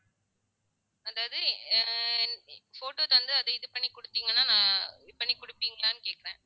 அதாவது photo தந்து அதை இது பண்ணி கொடுத்தீங்கன்னா நான் இது பண்ணி கொடுப்பீங்களான்னு கேட்கிறேன்